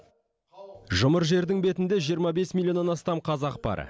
жұмыр жердің бетінде жиырма бес миллионнан астам қазақ бар